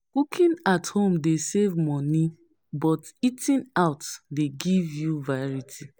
Cooking at home dey save money, but eating out dey give you variety.